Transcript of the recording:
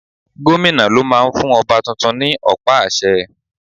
Gómìnà ló máa ń fún ọba tuntun ní ọ̀pá àṣẹ.